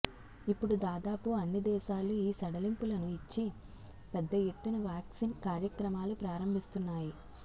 ఇప్పుడు దాదాపు అన్ని దేశాలూ ఈ సడలింపులను ఇచ్చి పెద్ద ఎత్తున వాక్సిన్ కార్యక్రమాలు ప్రారంభిస్తున్నాయి